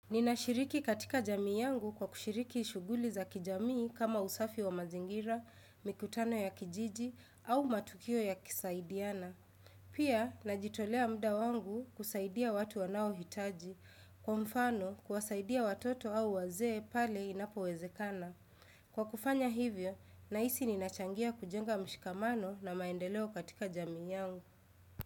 Ninashiriki katika jamii yangu kwa kushiriki shughuli za kijamii kama usafi wa mazingira, mikutano ya kijiji au matukio yakisaidiana. Pia, najitolea muda wangu kusaidia watu wanaohitaji, kwa mfano, kuwasaidia watoto au wazee pale inapowezekana. Kwa kufanya hivyo, nahisi ninachangia kujenga mshikamano na maendeleo katika jamii yangu.